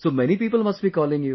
So many people must be calling you